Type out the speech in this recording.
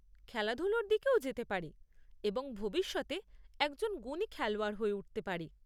খেলাধুলোর দিকেও যেতে পারে এবং ভবিষ্যতে একজন গুণী খেলোয়াড় হয়ে উঠতে পারে।